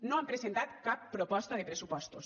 no han presentat cap proposta de pressupostos